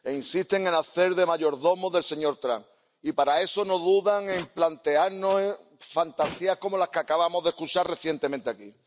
E insisten en hacer de mayordomos del señor Trump. Y para eso no dudan en plantearnos fantasías como la que acabamos de escuchar recientemente aquí.